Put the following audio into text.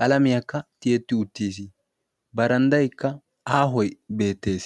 qalamiyaakka tiyetti uttiis baranddayikka aahoy beettees.